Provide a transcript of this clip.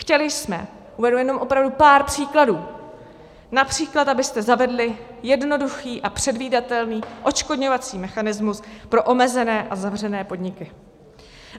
Chtěli jsme, uvedu jenom opravdu pár příkladů, například, abyste zavedli jednoduchý a předvídatelný odškodňovací mechanismus pro omezené a zavřené podniky.